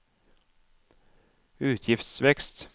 utgiftsvekst